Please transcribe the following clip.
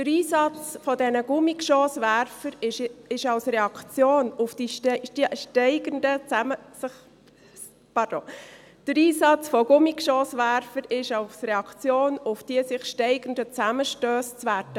Der Einsatz von Gummigeschosswerfern ist als Reaktion auf die sich steigernden Zusammenstösse zu werten.